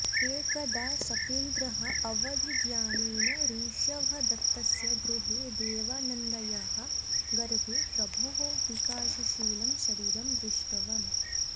एकदा शकेन्द्रः अवधिज्ञानेन ऋषभदत्तस्य गृहे देवानन्दायाः गर्भे प्रभोः विकासशीलं शरीरं दृष्टवान्